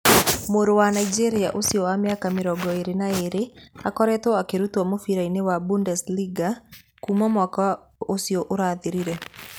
Mũrũ wa Nigeria ũcio wa mĩaka 22 akoretwo akĩrutwo mũbira-inĩ wa Bundesliga kuuma mwaka ũcio ũrathirire.